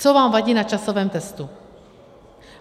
Co vám vadí na časovém testu?